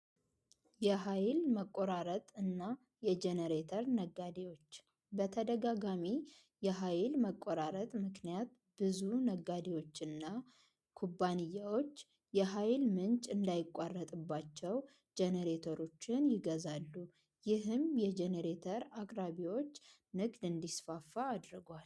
የኃይል መቆረጥ እና የጄኔሬተር ነጋዴዎች በተደጋጋሚ የልም መቆራረጥ ምክንያት ብዙ የኃይል ምንጋዴዎችና ኩባንያዎች የኃይል ምንጭ ጄኔሬተር ይገዛሉ ይህም የጄኔሬተር ምርት አቅራቢዎች እንዲስፋፋ አድርጓል።